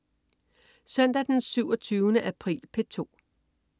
Søndag den 27. april - P2: